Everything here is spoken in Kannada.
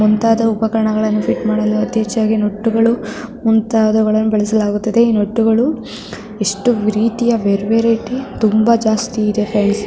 ಮುಂತಾದ ಉಪಕರಣಗಳನ್ನು ಪಿಟ್ ಮಾಡಲು ಅತಿ ಹೆಚ್ಚಾಗಿ ನಟ್ಟುಗಳು ಮುಂತಾದವುಗಳನ್ನು ಬಳಸಲಾಗುತ್ತದೆ ನಟ್ಟುಗಳು ಇಷ್ಟು ರೀತಿಯ ಬೇರೆ ಬೇರೆ ರೀತಿ ತುಂಬಾ ಜಾಸ್ತಿ ಇದೆ ಫ್ರೆಂಡ್ಸ್ --